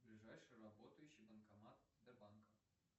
ближайший работающий банкомат сбербанка